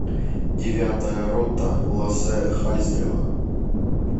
девятая рота лассе халльстрема